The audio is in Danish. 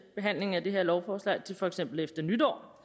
behandlingen af det her lovforslag til for eksempel efter nytår